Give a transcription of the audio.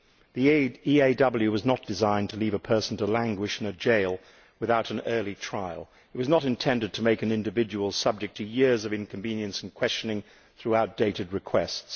The EAW was not designed to leave a person to languish in a jail without an early trial. It was not intended to make an individual subject to years of inconvenience and questioning as the result of outdated requests.